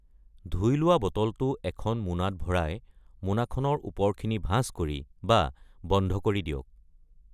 ধুই লোৱা বটলটো এখন মোনাত ভৰাই মোনাখনৰ ওপৰখিনি ভাঁজ কৰি বা বন্ধ কৰি দিয়ক।